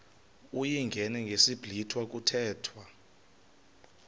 uyingene ngesiblwitha kuthethwa